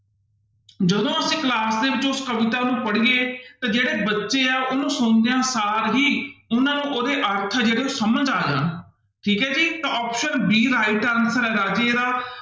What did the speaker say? ਜਦੋਂ ਅਸੀਂ class ਦੇ ਵਿੱਚ ਉਸ ਕਵਿਤਾ ਨੂੰ ਪੜ੍ਹੀਏ ਤਾਂ ਜਿਹੜੇ ਬੱਚੇ ਆ ਉਹਨੂੰ ਸੁਣਦਿਆਂ ਸਾਰ ਹੀ ਉਹਨਾਂ ਨੂੰ ਉਹਦੇ ਅਰਥ ਆ ਜਿਹੜੇ ਉਹ ਸਮਝ ਆ ਜਾਣ, ਠੀਕ ਹੈ ਜੀ ਤਾਂ option b right answer ਹੈ ਰਾਜੇ ਇਹਦਾ।